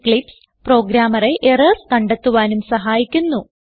Eclipse പ്രോഗ്രാമറെ errors കണ്ടെത്തുവാനും സഹായിക്കുന്നു